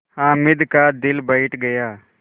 हामिद का दिल बैठ गया